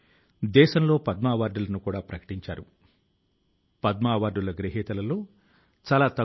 సమాజం పట్ల మన బాధ్యతలను నెరవేర్చడంలో భారతీయులమైన మన సంకల్ప శక్తి కి సంకేతం